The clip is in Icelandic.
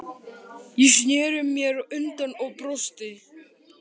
Ég sneri mér undan og brosti.